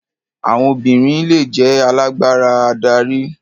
Àwọn obìnrin le jẹ́ alágbára adarí.